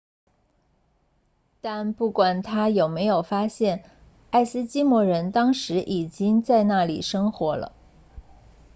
但不管他有没有发现爱斯基摩人当时已经在那里生活了